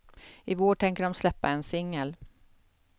I vår tänker de släppa en singel.